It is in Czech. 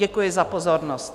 Děkuji za pozornost.